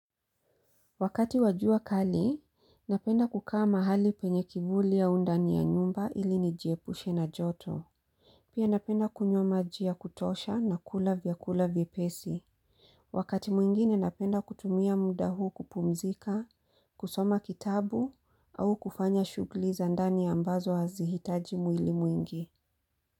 Wakati wa jua kali, napenda kukaa mahali penye kivuli au ndani ya nyumba ili nijiepushe na joto. Pia napenda kunywa majia ya kutosha na kula vyakula vyepesi. Wakati mwingine napenda kutumia muda huu kupumzika, kusoma kitabu au kufanya shugli za ndani ambazo hazihitaji mwili mwingi.